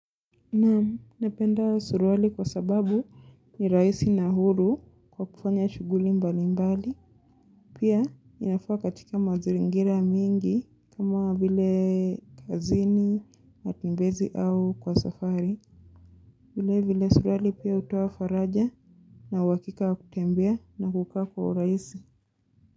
Naam napenda suruali kwa sababu ni rahisi na huru kwa kufanya shughuli mbali mbali. Pia inafaa katika mazingira mingi kama vile kazini, matembezi au kwa safari. Vile vile suruali pia hutoa faraja na uhakika wa kutembea na kukaa kwa urahisi.